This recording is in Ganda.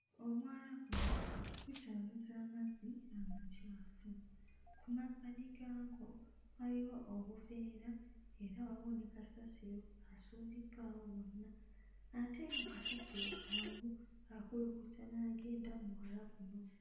Omwala guno gukyamuza amazzi amacaafu. Ku mabbali gaagwo waliwo obuveera era waliwo ne kasasiro asuuliddwawo wonna ate nga kasasiro omu akulukuta n'agenda mu mwala guno.